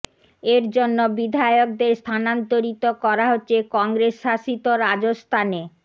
এর জন্য বিধায়কদের স্থানান্তরিত করা হচ্ছে কংগ্রেস শাসিত রাজস্থানে